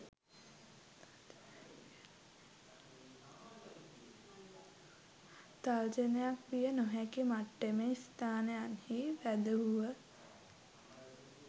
තර්ජනයක් විය නොහැකි මට්ටමේ ස්ථානයන්හි රැඳවූහ